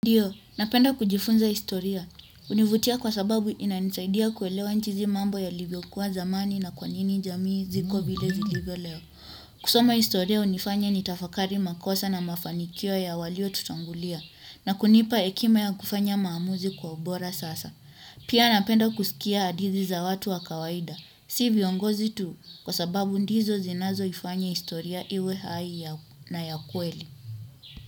Ndiyo, napenda kujifunza historia. Hunivutia kwa sababu inanisaidia kuelewa jinsi mambo yalivyokuwa zamani na kwa nini jamii ziko vile zilivyo leo. Kusoma historia hunifanya nitafakari makosa na mafanikio ya waliotutangulia. Na kunipa hekima ya kufanya maamuzi kwa ubora sasa. Pia napenda kusikia hadithi za watu wa kawaida. Si viongozi tu kwa sababu ndizo zinazoifanya historia iwe hai na ya kweli.